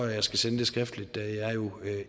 jeg skal sende den skriftligt da jeg jo